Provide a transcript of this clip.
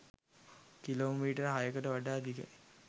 Kilometre හයකට වඩා දිගයි.